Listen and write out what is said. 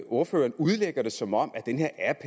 ordføreren udlægger det som om den her app